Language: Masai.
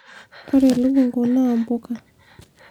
ore elukunku naa mbuka